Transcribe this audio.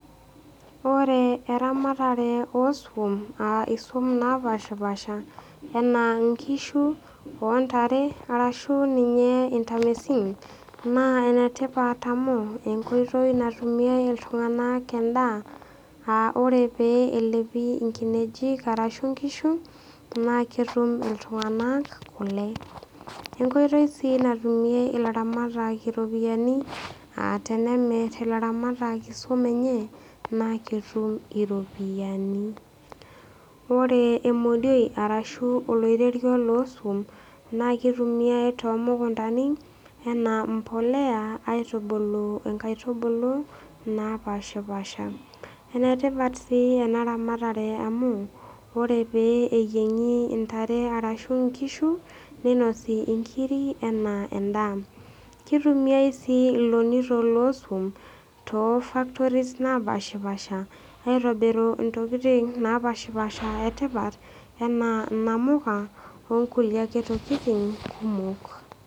Ore eramatare oo iswam, aa isum napaashipaasha anaa inkishu o ntare ashu ninye intamisin, naa enetipat amu, enkoitoi natumie iltung'ana endaa, aa ore pee elepi inkinejik arashu inkishu, naa ketum iltung'ana kule. Enkoitoi sii natumie ilairamatak iropiani aa tenemir ilairamatak isuum enye, naa ketum iropiani. Ore emodioi arashu oloirerio loo isuum naakeitumiyai too imukuntani anaa embolea aitubulu inkaitubulu napaashipaasha. Ene tipat sii ena ramatare amu, ore pee neyieng'i intare arashu inkishu, neinosi inkiri anaa endaa. Keitumiai sii ilonito loo isuum too ifaktoris napaashipaasha aitobiru intokitin napashapasha kumok e tipat anaa inamuka o nkulie ake tokitin kumok.